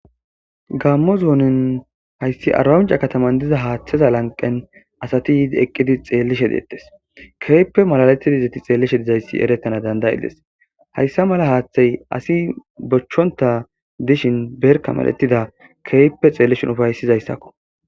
gammo zoonin hayssi arbamince kataman diza haaththeza lanqen asati yiidi eqqidi xeellishe deettes keyppe malaletidizeti xeellishe dizayssi erettana danday7iles hayssa mala haaththey asi bochchonta dishin berka maletida keyppe xeellishin ufaysizayssakko